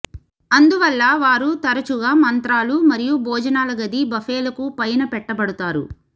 అందువల్ల వారు తరచుగా మంత్రాలు మరియు భోజనాల గది బఫేలకు పైన పెట్టబడుతారు